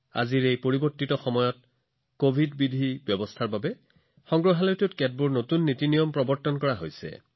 আজিৰ পৰিৱৰ্তনশীল সময়ত আৰু কভিড প্ৰটোকলৰ বাবে সংগ্ৰহালয়বোৰত নতুন পদ্ধতি গ্ৰহণ কৰাৰ ওপৰত গুৰুত্ব দিয়া হৈছে